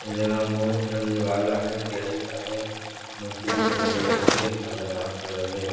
ये जगह म बहुत झन लेवाल आ हे गिराहिक आहे मस्त दिखत हे गजब के खतरनाक लगत दिखत हे।